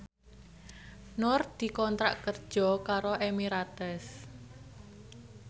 Nur dikontrak kerja karo Emirates